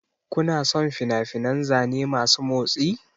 Kuna son fina-finan zane masu motsi?